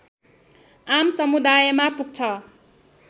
आम समुदायमा पुग्छ